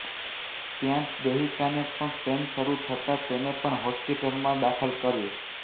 ત્યાં જ દેહીકાને પણ પેઈન શરૂ થતા તેને પણ હોસ્પિટલમાં દાખલ કરી